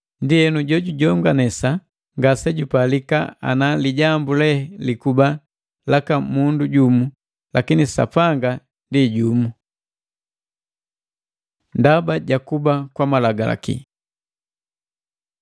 Ndienu, jojujonganesa ngasejupalika ana lijambu lee likuba laka mundu jumu, lakini Sapanga ndi jumu. Ndaba ja kuba kwa Malagalaki